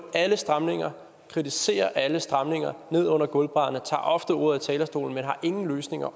alle stramninger kritiserer alle stramninger ned under gulvbrædderne tager ofte ordet på talerstolen men har ingen løsninger